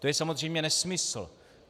To je samozřejmě nesmysl.